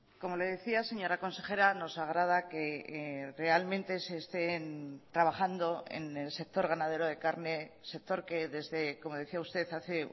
como le decía señora consejera nos agrada que realmente se estén trabajando en el sector ganadero de carne sector que desde como decía usted hace